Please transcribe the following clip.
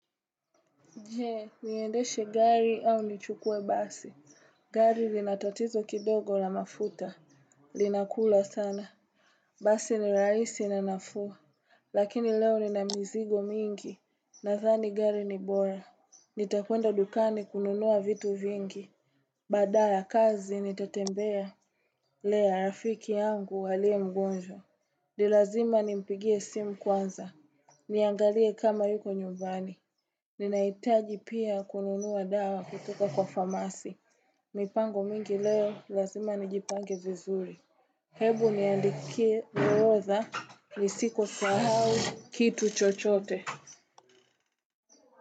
Je, niendeshe gari au nichukue basi. Gari lina tatizo kidogo la mafuta. Linakula sana. Basi ni rahisi na nafuu. Lakini leo nina mizigo mengi. Nadhani gari ni bora. Nitakwenda dukani kununua vitu vingi. Baada ya kazi nitatembea. Lea, rafiki yangu aliye mgonjwa. Ni lazima nimpigie simu kwanza. Niangalie kama yuko nyumbani. Ninahitaji pia kununua dawa kutoka kwa famasi. Mipango mingi leo lazima nijipange vizuri. Hebu niandikie orodha nisikosahau kitu chochote.